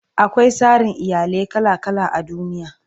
akwai tsarin iyalai kala kala a duniya